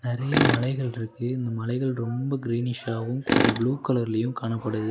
நெறைய மலைகள்ருக்கு இந்த மலைகள் ரொம்ப கிரீனிஷாவு கொஞ்ச ப்ளூ கலர்லயு காணப்படுது.